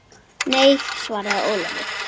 Nei, svaraði Ólafur.